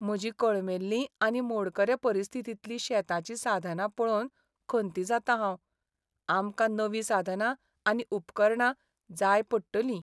म्हजीं कळमेल्लींआनी मोडकरे परिस्थितींतलीं शेताचीं साधनां पळोवन खंती जातां हांव. आमकां नवी साधनां आनी उपकरणां जाय पडटलीं.